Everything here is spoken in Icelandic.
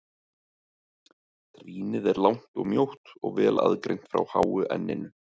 Trýnið er langt og mjótt og vel aðgreint frá háu enninu.